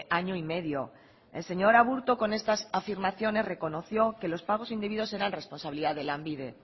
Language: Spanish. año y medio el señor aburto con estas afirmaciones reconoció que los pagos indebidos eran responsabilidad de lanbide